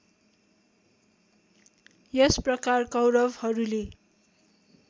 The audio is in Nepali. यस प्रकार कौरवहरूले